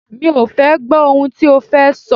Mi ò fẹ́ gbọ́ ohun tí o fẹ́ sọ!